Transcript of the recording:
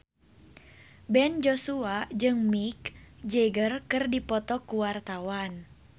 Ben Joshua jeung Mick Jagger keur dipoto ku wartawan